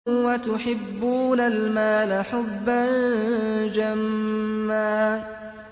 وَتُحِبُّونَ الْمَالَ حُبًّا جَمًّا